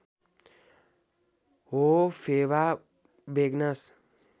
हो फेवा बेगनास